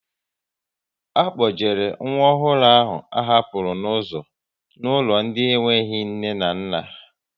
A kpojere nwa ọhụrụ ahụ a hapụrụ n'ụzọ n'ụlọ ndị enweghị nne na nna